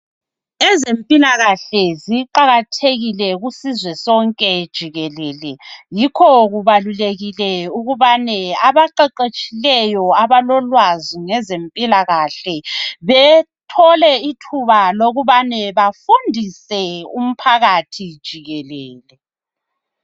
Ezempilakahle ziqakathekile empilweni umhlaba wonke jikelele. Abezempilahle abathanda ukufundisa abantu ngezempilo umhlaba wonke jikelele .